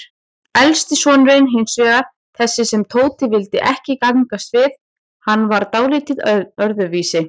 Elsti sonurinn hinsvegar, þessi sem Tóti vildi ekki gangast við, hann var dáldið öðruvísi.